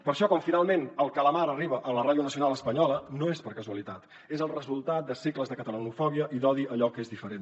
per això quan finalment el calamar arriba a la ràdio nacional espanyola no és per casualitat és el resultat de segles de catalanofòbia i d’odi a allò que és diferent